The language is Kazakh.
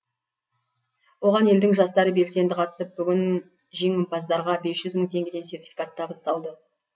оған елдің жастары белсенді қатысып бүгін жеңімпаздарға бес жүз мың теңгеден сертификат табысталды